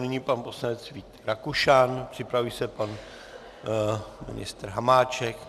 Nyní pan poslanec Vít Rakušan, připraví se pan ministr Hamáček.